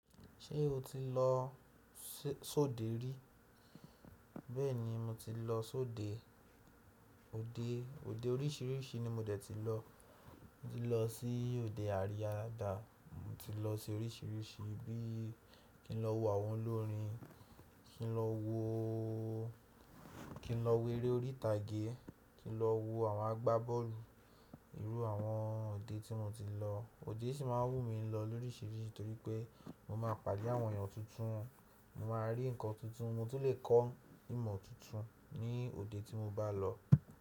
Ṣé o ti lọ sóde rí? Bẹ́ẹ̀ni, mo ti lọ sóde. Òde oríṣìíríṣìí ni mo dẹ̀ ti lọ. Mo ti lọ sí òde àríya daada, mo ti lọ sí oríṣìíríṣìí bí i kí n lọ wo àwọn olórin, kin lowo kí n lọ wo eré orí ìtàgé, kí n lọ wo àwọn agbábọ́ọ̀lù. Iru àwọn òde tí mo ti lọ. Òde sì máa ń wù mí lọ lóríṣìíríṣìí torí pé mo máa pàdé àwọn èèyàn tuntun, mo máa rí nǹkan tuntun, mo tún lè kọ́ ìmọ̀ tuntun ní òde tí mo bá lọ.